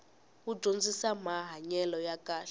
wu dyondzisamahanyelo ya kahle